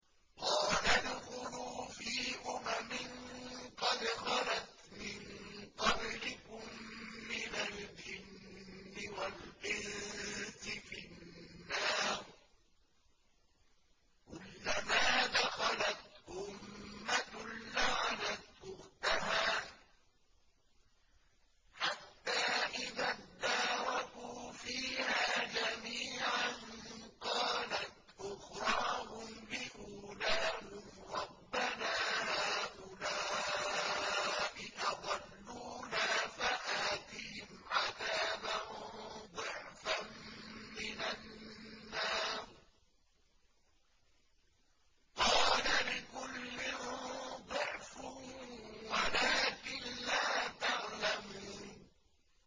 قَالَ ادْخُلُوا فِي أُمَمٍ قَدْ خَلَتْ مِن قَبْلِكُم مِّنَ الْجِنِّ وَالْإِنسِ فِي النَّارِ ۖ كُلَّمَا دَخَلَتْ أُمَّةٌ لَّعَنَتْ أُخْتَهَا ۖ حَتَّىٰ إِذَا ادَّارَكُوا فِيهَا جَمِيعًا قَالَتْ أُخْرَاهُمْ لِأُولَاهُمْ رَبَّنَا هَٰؤُلَاءِ أَضَلُّونَا فَآتِهِمْ عَذَابًا ضِعْفًا مِّنَ النَّارِ ۖ قَالَ لِكُلٍّ ضِعْفٌ وَلَٰكِن لَّا تَعْلَمُونَ